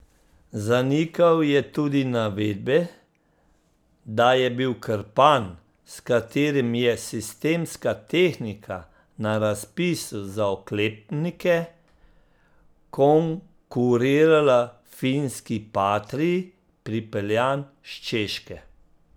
Zanikal je tudi navedbe, da je bil krpan, s katerim je Sistemska tehnika na razpisu za oklepnike konkurirala finski Patrii, pripeljan s Češke.